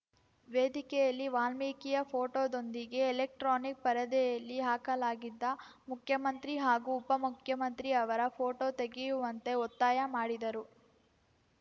ವೇದಿಕೆಯಲ್ಲಿ ವಾಲ್ಮೀಕಿಯ ಫೋಟೋದೊಂದಿಗೆ ಎಲೆಕ್ಟ್ರಾನಿಕ್‌ ಪರದೆಯಲ್ಲಿ ಹಾಕಲಾಗಿದ್ದ ಮುಖ್ಯಮಂತ್ರಿ ಹಾಗೂ ಉಪಮುಖ್ಯಮಂತ್ರಿ ಅವರ ಫೋಟೋ ತೆಗೆಯುವಂತೆ ಒತ್ತಾಯ ಮಾಡಿದರು